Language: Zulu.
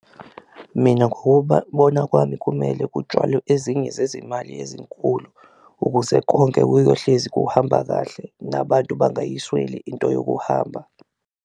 Mina ukubona kwami kumele kutshwalwe ezinye zezimali ezinkulu ukuze konke kuyohlezi kuhamba kahle nabantu bangayisweli into yokuhamba.